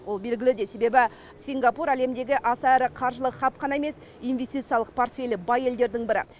ол белгілі де себебі сингапур әлемдегі аса ірі қаржылық хаб қана емес инвестициялық портфелі бай елдердің бірі